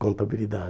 Contabilidade.